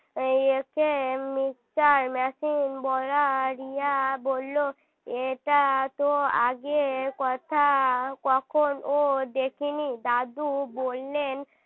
একে mixer machine বলে আর রিয়া বলল এটা তো আগে কথা কখনও দেখিনি দাদু বললেন